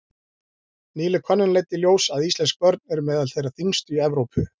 Nýleg könnun leiddi í ljós að íslensk börn eru meðal þeirra þyngstu í Evrópu.